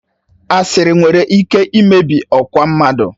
Asịrị nwere ike imebi ọkwa mmadụ.